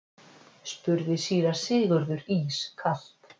spurði síra Sigurður ískalt.